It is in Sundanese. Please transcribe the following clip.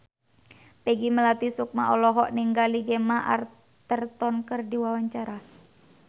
Peggy Melati Sukma olohok ningali Gemma Arterton keur diwawancara